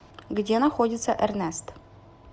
где находится эрнест